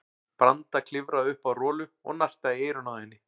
Branda klifraði upp á Rolu og nartaði í eyrun á henni.